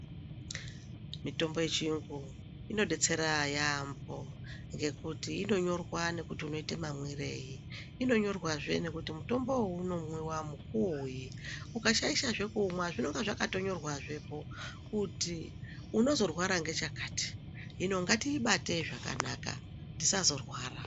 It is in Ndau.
Mitombo yechiyungu, inodetsera yaampho, ngekuti inonyorwa nekuti unoite mamwirei. Inonyorwazve nekuti mutombowo inomwiwa mukuwoyi. Ukashaishazve kuumwa zvinonga zvakatonyorwepo kuti unozorwara ngechakati. Hino ngatiibate zvakanaka tisazorwara.